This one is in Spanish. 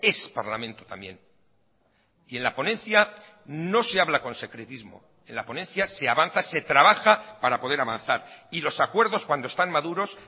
es parlamento también y en la ponencia no se habla con secretismo en la ponencia se avanza se trabaja para poder avanzar y los acuerdos cuando están maduros